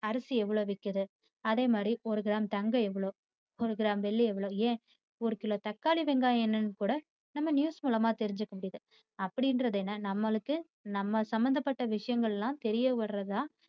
அரிசி எவ்வளோ விக்கிது அதே மாதிரி ஒரு கிராம் தங்கம் எவ்வளோ ஒரு கிராம் வெள்ளி எவ்வளோ ஏன் ஒரு கிலோ தக்காளி வெங்காயம் என்னனு கூட நம்ம news மூலமா தெரிஞ்சுக்கமுடியுது அப்படிங்கிறது என்ன நம்மளுக்கு நமக்கு சம்மந்தப்பட்ட விஷயங்கள்யெல்லாம் தெரியவராத